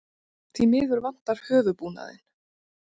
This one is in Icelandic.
því miður vantar höfuðbúnaðinn